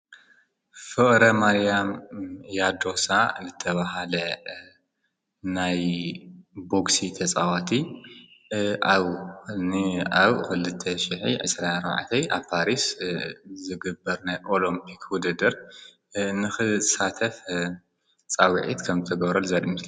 ፍቅረማርያም ያዶሳ ዝተባሃለ ናይ ቦክሲ ተፃወቲ ኣብ ክልተ ሽሕ ዒስራን ኣርባዕተ ኣብ ፓሪስ ዝግበር ናይ ኦሎሞፒክ ዉድድር ንክሳተፍ ፃዊዒት ከም ዝተገበረሉ ዘርኢ ምስሊ እዩ፡፡